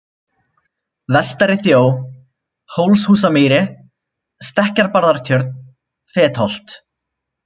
Vestari-Þjó, Hólshúsamýri, Stekkjabarðatjörn, Fetholt